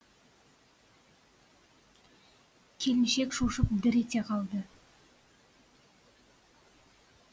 келіншек шошып дір ете қалды